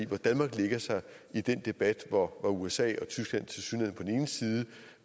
hvor danmark lægger sig i den debat hvor usa og tyskland tilsyneladende